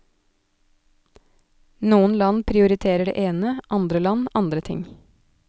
Noen land prioriterer det ene, andre land andre ting.